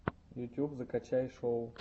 ютюб закачай шоу